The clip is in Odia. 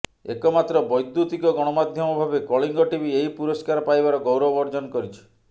ଏକମାତ୍ର ବୈଦ୍ୟୁତିକ ଗଣମାଧ୍ୟମ ଭାବେ କଳିଙ୍ଗ ଟିଭି ଏହି ପୁରସ୍କାର ପାଇବାର ଗୌରବ ଅର୍ଜନ କରିଛି